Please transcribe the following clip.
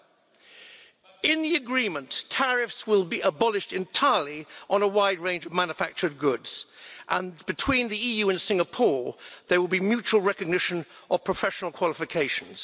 Under the agreement, tariffs will be abolished entirely on a wide range of manufactured goods, and between the EU and Singapore there will be mutual recognition of professional qualifications.